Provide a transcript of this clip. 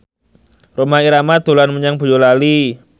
Rhoma Irama dolan menyang Boyolali